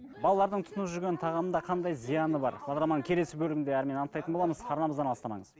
балалардың тұтынып жүрген тағамында қандай зияны бар бағдарламаның келесі бөлімінде әрмен анықтайтын боламыз арнамыздан алыстамаңыз